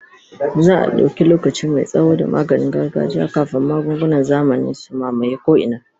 Za a dauki lokaci mai tsawo da maganin gargajiya kafin magungunan zamani su mamaye ko'ina.